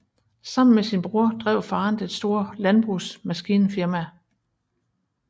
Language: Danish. Sammen med sin bror drev faderen det store landbrugsmaskinfirma Brdr